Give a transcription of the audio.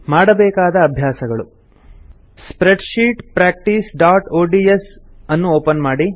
ಮಾಡಬೇಕಾದ ಅಭ್ಯಾಸಗಳು ಸ್ಪ್ರೆಡ್ಶೀಟ್ practiceಒಡಿಎಸ್ ಅನ್ನು ಒಪನ್ ಮಾಡಿ